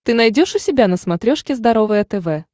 ты найдешь у себя на смотрешке здоровое тв